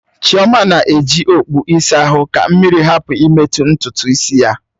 Chioma na-eji okpụ ịsa ahụ ka mmiri hapụ imetụ ntutu isi ya.